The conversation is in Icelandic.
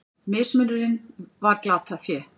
Mismunurinn var glatað fé.